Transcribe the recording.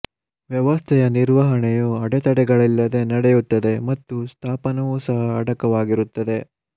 ವ್ಯವಸ್ಥೆಯ ನಿರ್ವಹಣೆಯು ಅಡೆತಡೆಗಳಿಲ್ಲದೆ ನಡೆಯುತ್ತದೆ ಮತ್ತು ಸ್ಥಾಪನವೂ ಸಹ ಅಡಕವಾಗಿರುತ್ತದೆ